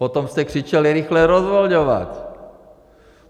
Potom jste křičeli - rychle rozvolňovat!